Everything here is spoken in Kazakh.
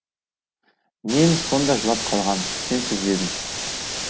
мен сонда жылап қалғам сен сезбедің